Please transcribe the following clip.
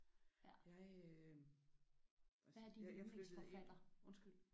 Jeg øh jeg jeg flyttede ind